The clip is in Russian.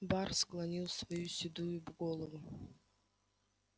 бар склонил свою седую голову